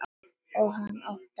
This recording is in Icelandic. Og hann óttast.